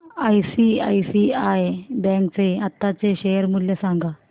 ICICI bank चे आताचे share मूल्य सांगा